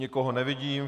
Nikoho nevidím.